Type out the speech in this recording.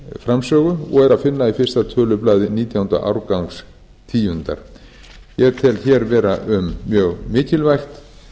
framsögu og er að finna í fyrsta tölublaði nítjánda árgangs tíundar ég tel hér vera um mjög mikilvægt